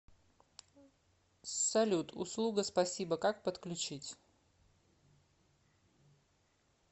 салют услуга спасибо как подключить